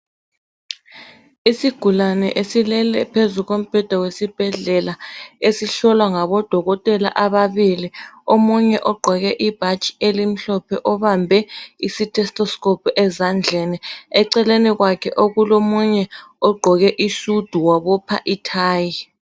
Isigulane esilele phezu kombheda wesibhedlela esihlolwa ngabodokotela ababili, omunye ogqoke ibhatshi elimhlophe omunye obambe i "thetoscope" ezandleni. Eceleni kwakhe okukomunye ogqoke isudu wabopha ithayi.